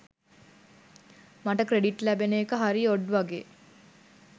මට ක්‍රෙඩිට් ලැබෙන එක හරි ඔඩ් වගේ.